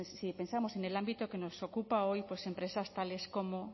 si pensamos en el ámbito que nos ocupa hoy pues empresas tales como